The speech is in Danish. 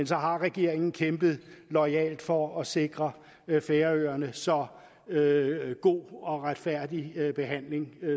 så har regeringen kæmpet loyalt for at sikre færøerne så god og retfærdig en behandling